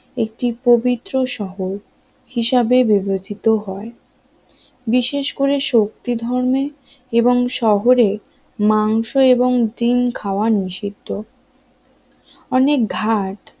একটি পবিত্র শহর হিসাবে বিবেচিত হয় বিশেষ করে শক্তিধর্মে এবং শহরে মাংস এবং ডিম খাওয়া নিষিদ্ধ অনেক ঘাট